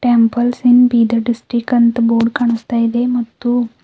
temples in Bidar district ಎಂಬ board ಕಾಣಸ್ತಾಯಿದೆ ಮತ್ತು--